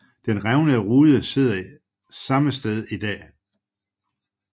Den revnede rude sidder samme sted i dag